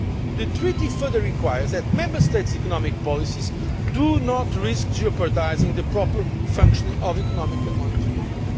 The Treaty further requires that Member States' economic policies do not risk jeopardising the proper functioning of Economic and Monetary